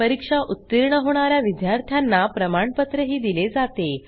परीक्षा उत्तीर्ण होणा या विद्यार्थ्यांना प्रमाणपत्रही दिले जाते